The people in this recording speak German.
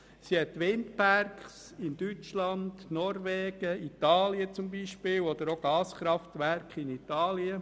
Die BKW hat Windparks in Deutschland und Norwegen und Gaskraftwerke in Italien.